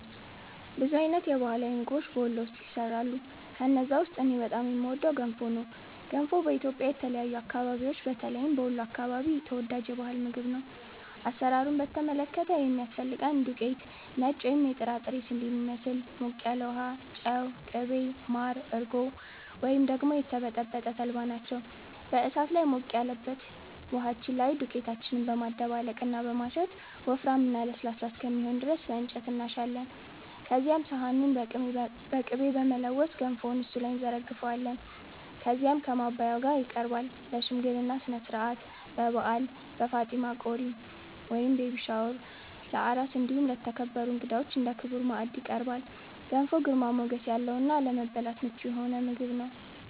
ብዙ አይነት የባህላዊ ምግቦች በ ወሎ ውስጥ ይሰራሉ። ከነዛ ውስጥ እኔ በጣም የምወደው ገንፎ ነው። ገንፎ በኢትዮጵያ የተለያዩ አከባቢዎች በተለይም በ ወሎ አከባቢ ተወዳጅ የ ባህል ምግብ ነው። አሰራሩን በተመለከተ የሚያስፈልገን ዱቄት(ነጭ ወይም የጥራጥሬ ስንዴን ይመስል)፣ ሞቅ ያለ ውሃ፣ ጨው፣ ቅቤ፣ ማር፣ እርጎ ወይም ደግሞ የተበጠበጠ ተልባ ናቸው። በ እሳት ላይ ሞቅ ያለበት ውሃችን ላይ ዱቄታችንን በማደባለቅ እና በማሸት ወፍራም እና ለስላሳ እስከሚሆን ድረስ በ እንጨት እናሻለን። ከዚያም ሰሃኑን በ ቅቤ በመለወስ ገንፎውን እሱ ላይ እንዘረግፈዋለን። ከዚያም ከ ማባያው ጋ ይቀርባል። ለ ሽምግልና ስነስርዓት፣ በ በዓል፣ በ ፋጢማ ቆሪ(ቤቢ ሻወር) ፣ለ አራስ እንዲሁም ለተከበሩ እንግዳዎች እንደ ክቡር ማዕድ ይቀርባል። ገንፎ ግርማ ሞገስ ያለው እና ለመብላት ምቹ የሆነ ምግብ ነው።